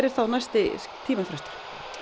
er þá næsti tímafrestur